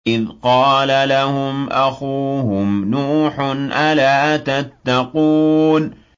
إِذْ قَالَ لَهُمْ أَخُوهُمْ نُوحٌ أَلَا تَتَّقُونَ